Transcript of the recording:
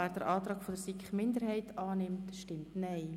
Wer den Antrag der SiK-Minderheit annimmt, stimmt Nein.